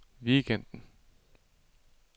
weekenden